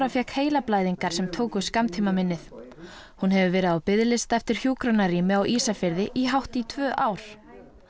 fékk heilablæðingar sem tóku skammtímaminnið hún hefur verið á biðlista eftir hjúkrunarrými á Ísafirði í hátt í tvö ár